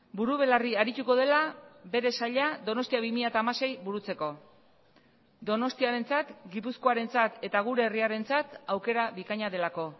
buru belarri arituko dela bere saila donostia bi mila hamasei burutzeko donostiarentzat gipuzkoarentzat eta gure herriarentzat aukera bikaina delako